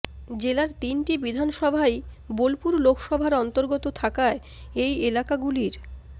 জেলার তিনটি বিধানসভাই বোলপুর লোকসভার অন্তর্গত থাকায় এই এলাকাগুলির